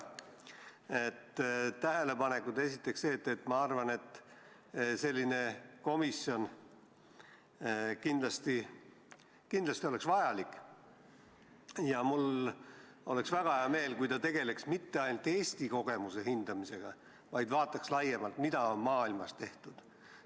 Tähelepanekud: ma arvan, et sellist komisjoni oleks kindlasti vaja ja mul oleks väga hea meel, kui ta tegeleks mitte ainult Eesti kogemuse hindamisega, vaid vaataks laiemalt, mida on maailmas tehtud.